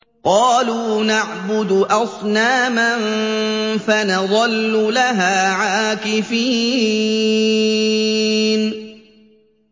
قَالُوا نَعْبُدُ أَصْنَامًا فَنَظَلُّ لَهَا عَاكِفِينَ